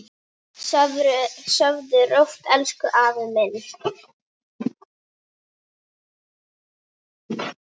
Sofðu rótt elsku afi minn.